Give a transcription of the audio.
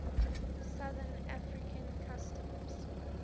southern african customs